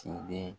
Ciden